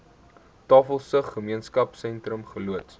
tafelsig gemeenskapsentrum geloods